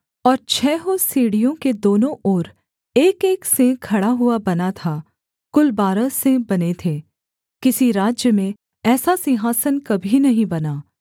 और छहों सीढ़ियों के दोनों ओर एकएक सिंह खड़ा हुआ बना था कुल बारह सिंह बने थे किसी राज्य में ऐसा सिंहासन कभी नहीं बना